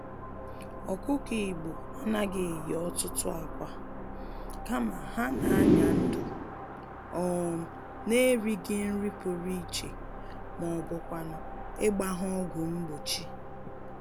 Ọkụkọ Igbo anaghị eyi ọtụtụ ákwà, kama, ha n'anya-ndụ um n'erighì nri pụrụ iche mọbụkwanụ̀ ịgba ha ọgwụ mgbochi